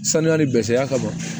Sanuyali bɛɛ seya ka ban